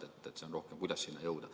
Küsimus on rohkem selles, kuidas sinna jõuda.